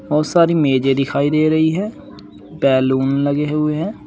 बहुत सारी मेजे दिखाई दे रही है बैलून लगे हुए हैं।